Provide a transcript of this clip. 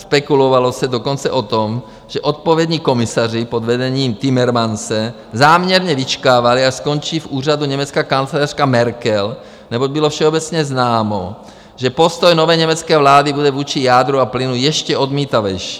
Spekulovalo se dokonce o tom, že odpovědní komisaři pod vedením Timmermanse záměrně vyčkávali, až skončí v úřadu německá kancléřka Merkel, neboť bylo všeobecně známo, že postoj nové německé vlády bude vůči jádru a plynu ještě odmítavější.